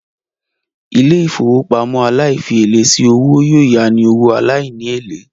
Ilé-ìfowópamọ́ aláìfièlé sí owó yóò yání owó aláìní èlé